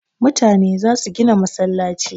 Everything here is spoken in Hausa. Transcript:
Mutane za su gina masallci